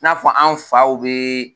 N'a fɔ an faw bɛ